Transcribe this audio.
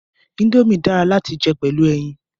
Indomie dara lati jẹ pẹlu ẹyin